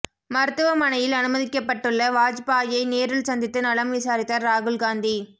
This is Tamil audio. மருத்துவமனையில் அனுமதிக்கப்பட்டுள்ள வாஜ்பாயை நேரில் சந்தித்து நலம் விசாரித்தார் ராகுல் காந்தி